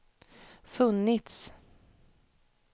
funnits